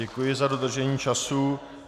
Děkuji za dodržení času.